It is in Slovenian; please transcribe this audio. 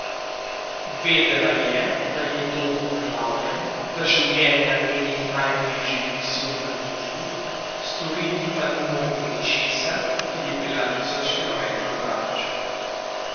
Vedela je, da je dom poplavljen, da življenja njenih najbližjih visijo na nitki, storiti pa ni mogla ničesar, ker je bila tisoč kilometrov daleč.